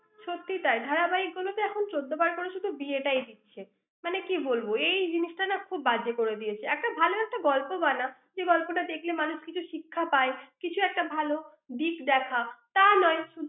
সত্যি তাই। ধারাবাহিকগুলোতে এখন চোদ্দবার করে বিয়েটাই দিচ্ছে। মানে কি বলবো। এই জিনিসটা খুব বাজে করে দিয়েছে। একটা ভাল একটা গল্প বানা, যে গল্পটা দেখলে মানুষ কিছু শিক্ষা পায়, কিছু একটা ভাল দিক দেখা তার নয়।